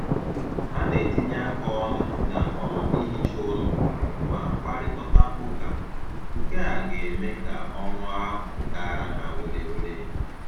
Ha na-etinye aka ọnụ na um ihicha ụlọ ma kparịkọta ụka, nkea ga-eme ka ọrụ ahụ gaara ha were were